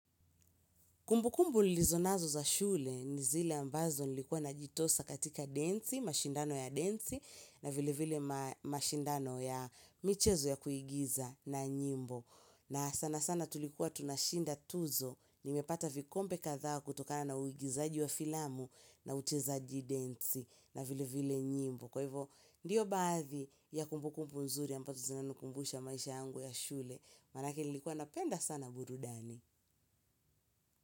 Kumbu kumbu lilizo naza shule ni zile ambazo nilikuwa na jitosa katika densi, mashindano ya densi na vile vile ma mashindano ya michezo ya kuigiza na nyimbo. Na sana sana tulikuwa tunashinda tuzo, nimepata vikombe kadhaa kutokana na uigizaji wa filamu na uchezaji densi na vile vile nyimbo. Kwa hivyo, ndiyo baadhi ya kumbu kumbu nzuri ambazo zinanukumbusha maisha angu ya shule, manake nilikuwa na penda sana burudani.